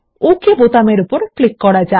okay বাটনের উপর click করা যাক